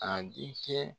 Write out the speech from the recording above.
A denkɛ